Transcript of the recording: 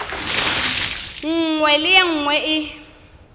nngwe le ye nngwe e